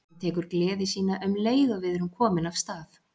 Hann tekur gleði sína um leið og við erum komin af stað.